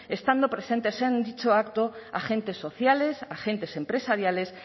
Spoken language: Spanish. estando presentes en dicho acto agentes sociales agentes empresariales